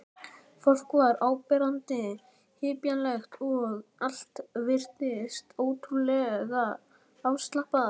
Fólk var áberandi hippalegt og allt virtist ótrúlega afslappað.